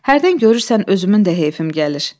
Hərdən görürsən özümün də heyfim gəlir.